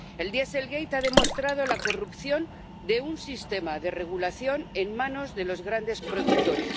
El dieselgate ha demostrado la corrupción de un sistema de regulación en manos de los grandes productores.